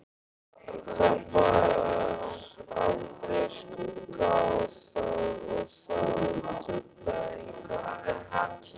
Það bar aldrei skugga á það og það truflaði engan.